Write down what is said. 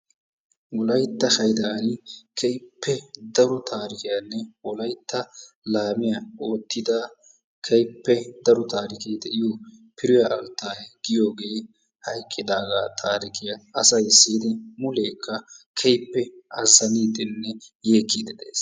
Wolaytta haydaan keehippe daro tarikkiyaanne Wolaytta laamiyaa oottida keehippe daro taarikee de'iyo Firiyaa Alttaayee giyoogee hayqqidaagaa taarikiyaa siyidi asay muleekka azaniiddinne keehippe yeekkiiddi de'ees.